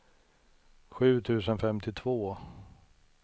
sju tusen femtiotvå